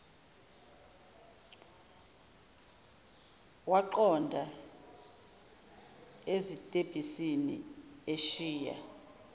waqonda ezitebhisini eshiya